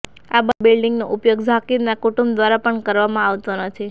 આ બંને બિલ્ડિંગનો ઉપયોગ ઝાકીરના કુટુંબ દ્વારા પણ કરવામાં આવતો નથી